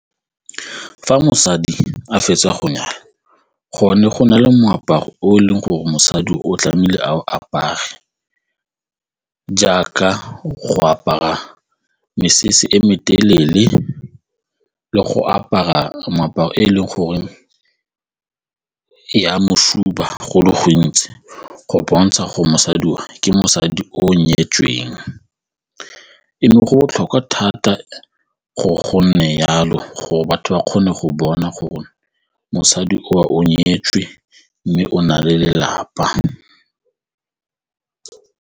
Fa mosadi a fetsa go nyala go ne go na le moaparo o e leng gore mosadi o tlamehile a o apare jaaka go apara mesese e me telele le go apara moaparo e leng goreng e ama go le gontsi go bontsha go mosadi oo ke mosadi o nyetsweng eno go botlhokwa thata go gonne jalo gore batho ba kgone go bona gore mosadi o nyetswe mme o na le lelapa.